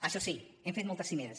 això sí hem fet moltes cimeres